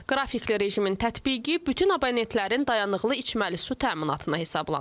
Qrafikli rejimin tətbiqi bütün abonentlərin dayanıqlı içməli su təminatına hesablanıb.